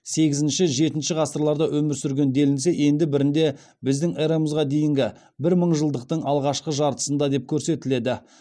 сегізінші жетінші ғасырларда өмір сүрген делінсе енді бірінде біздің эраға дейінгі бірінші мыңжылдықтың алғашқы жартысында деп көрсетіледі